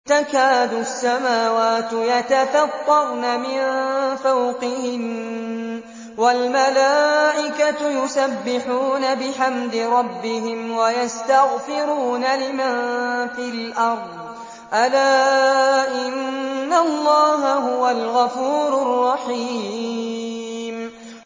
تَكَادُ السَّمَاوَاتُ يَتَفَطَّرْنَ مِن فَوْقِهِنَّ ۚ وَالْمَلَائِكَةُ يُسَبِّحُونَ بِحَمْدِ رَبِّهِمْ وَيَسْتَغْفِرُونَ لِمَن فِي الْأَرْضِ ۗ أَلَا إِنَّ اللَّهَ هُوَ الْغَفُورُ الرَّحِيمُ